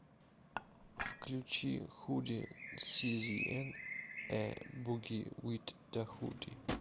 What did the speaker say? включи худи сизиэн э буги вит да худи